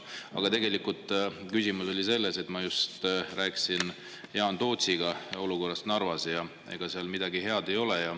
Aga tegelikult küsimus oli selles, et ma just rääkisin Jaan Tootsiga olukorrast Narvas, ja ega seal midagi head ei ole.